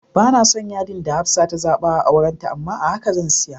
Banason yadi da Hafsah ta zaba a auranta amma a haka zan siya.